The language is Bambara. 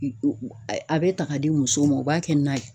E u ɛ, a bɛ ta k'a di musow ma u b'a kɛ n'a ye.